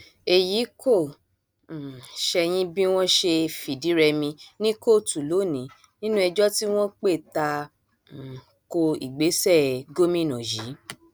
èyí kò um ṣẹyìn bí wọn ṣe fìdírẹmi ní kóòtù lónìí nínú ẹjọ tí wọn pè ta um ko ìgbésẹ gómìnà yìí